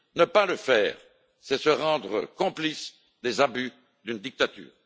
Ne pas le faire, c'est se rendre complice des abus d'une dictature.